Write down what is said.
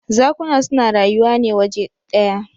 Zakuna su na rayuwa ne waje ɗya.